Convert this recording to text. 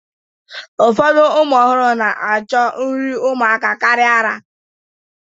Ụfọdụ ụmụ ọhụrụ na-ahọrọ nri ụmụaka karịa ara